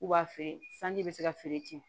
K'u b'a feere sanji bɛ se ka feere ten